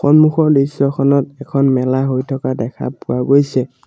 সন্মুখৰ দৃশ্যখনত এখন মেলা হৈ থকা দেখা পোৱা গৈছে।